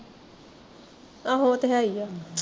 ਆਹੋ ਉਹ ਤੇ ਹੈ ਈ ਆ